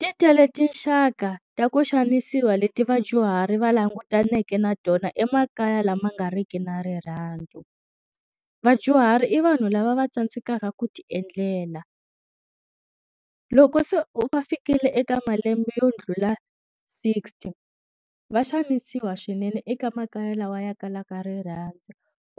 Ti tele tinxaka ta ku xanisiwa leti vadyuhari va langutaneke na tona emakaya lama nga riki na rirhandzu. Vadyuhari i vanhu lava va tsandzekaka ku ti endlela. Loko se u fikile eka malembe yo ndlula sixty, va xanisiwa swinene eka makaya lawa ya kalaka ri rhandza.